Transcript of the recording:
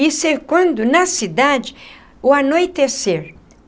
e cercando na cidade o anoitecer.